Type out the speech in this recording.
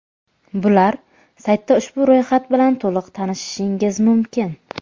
Bular: Saytda ushbu ro‘yxat bilan to‘liq tanishishingiz mumkin.